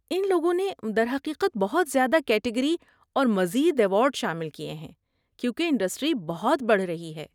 ان لوگوں نے درحقیقت بہت زیادہ کیٹیگری اور مزید ایوارڈ شامل کیے ہیں کیونکہ انڈسٹری بہت بڑھ رہی ہے۔